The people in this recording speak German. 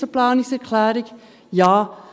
Zur Planungserklärung 1: